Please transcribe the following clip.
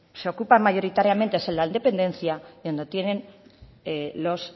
se ocupan mayoritariamente es en la dependencia y donde tienen los